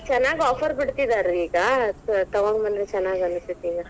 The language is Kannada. ಈಗ ಚೆನ್ನಾಗಿ offer ಬಿಡ್ತೀತಿದಾರ್ರೀ ಈಗಾ ತಗೋಬಂದ್ರೇ ಚೆನ್ನಾಗನಸ್ತೇತ ಇಗಾ.